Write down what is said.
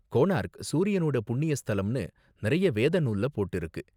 கோனாரக் சூரியனோட புண்ணிய ஸ்தலம்னு நிறைய வேத நூல்ல போட்டிருக்கு.